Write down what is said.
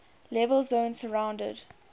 level zone surrounded